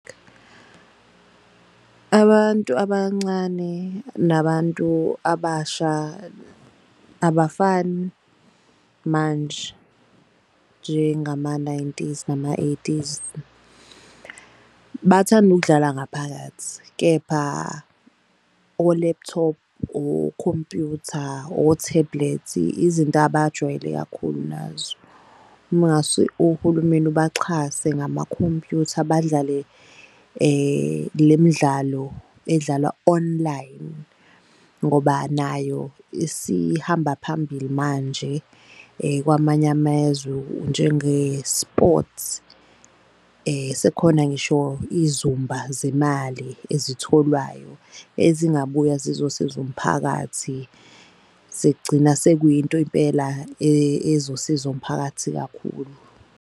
Abantu abancane nabantu abasha abafani manje njengama-nineties nama-eighties. Bathanda ukudlala ngaphakathi kepha o-laptop, okhompyutha, o-tablet izinto abajwayele kakhulu nazo. Uma ngase uhulumeni ubaxhase ngamakhompyutha badlale le midlalo edlalwa online. Ngoba nayo isihamba phambili manje kwamanye amezwe njenge-sports. Sekhona ngisho izumba zemali ezitholwayo ezingabuya zizosiza umphakathi. Sekugcina sekuyinto impela ezosiza umphakathi kakhulu.